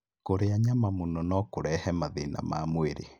Kũrĩa nyama mũno no kũrehe mathĩna ma mwĩrĩ.